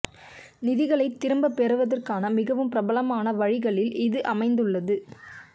நிதிகளை திரும்பப் பெறுவதற்கான மிகவும் பிரபலமான வழிகளில் இது அமைந்துள்ளது